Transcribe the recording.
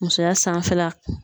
Musoya sanfɛla